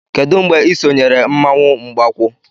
Kedu mgbe ị sonyere mmanwụ Mgbakwu?